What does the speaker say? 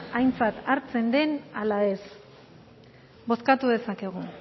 aintzat hartzen den ala ez bozkatu dezakegu